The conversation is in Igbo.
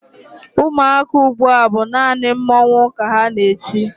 Ụmụaka ugbua bụ naanị mmọnwụ ka ha na-eti.